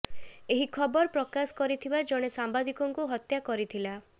ଏହି ଖବର ପ୍ରକାଶ କରିଥିବା ଜଣେ ସାମ୍ବାଦିକଙ୍କୁ ହତ୍ୟା କରିଥିଲା